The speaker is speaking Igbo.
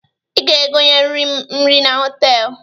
Ị ga-egonyeriri m nri na họtelụ